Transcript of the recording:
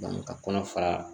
ka kɔnɔ fara